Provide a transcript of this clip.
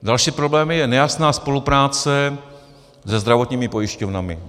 Dalším problémem je nejasná spolupráce se zdravotními pojišťovnami.